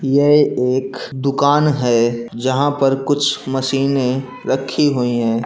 यह एक दुकान है जहाँ पर कुछ मशीने रखी हुई है।